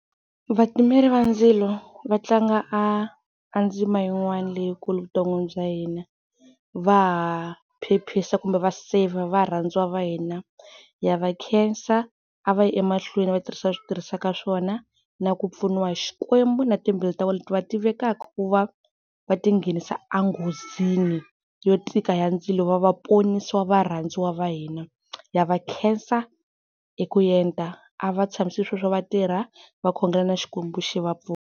Va timeli va ndzilo va tlanga a ndzima yin'wana leyikulu a vuton'wini bya hina. Va ha phephisa kumbe va save varhandziwa va hina. Ha va khensa a va yi emahlweni va tirhisa leswi va swi tirhisaka swona, na ku pfuniwa hi Xikwembu na timbilu ta vona leti va tivekaku va va tinghenisa enghozini yo tika ya ndzilo va va ponisa va rhandziwa va hina. Ha va khensa hi ku enta a va tshamisi sweswo va tirha va khongela na Xikwembu xi vapfuna.